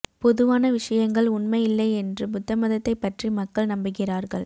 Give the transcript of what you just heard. பொதுவான விஷயங்கள் உண்மை இல்லை என்று புத்தமதத்தை பற்றி மக்கள் நம்புகிறார்கள்